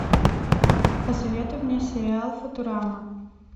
посоветуй мне сериал футурама